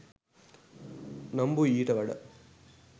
නම්බුයි ඊට වඩා.